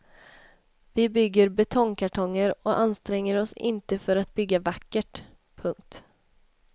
Vi bygger betongkartonger och anstränger oss inte för att bygga vackert. punkt